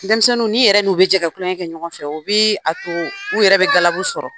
Dɛmisɛnninw n'i yɛrɛ n'u be jɛ ka kulɔŋɛ kɛ ɲɔgɔn fɛ, o bee a to u yɛrɛ be galabu sɔrɔ.